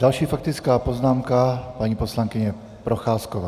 Další faktická poznámka - paní poslankyně Procházková.